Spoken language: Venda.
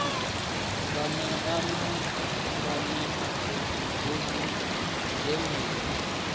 nganea na nganeapfufhi bugu dzenedzi